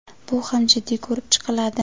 bu ham jiddiy ko‘rib chiqiladi.